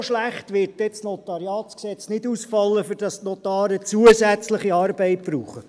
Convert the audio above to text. So schlecht wird das Notariatsgesetz (NG) wohl nicht ausfallen, dass die Notare zusätzliche Arbeit brauchen.